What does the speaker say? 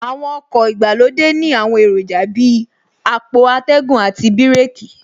Àwọn ọkọ̀ ìgbàlódé ní àwọn èròjà Bíi àpò atẹ́gùn àti bíràkì